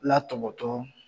Latɔbɔtɔ.